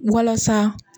Walasa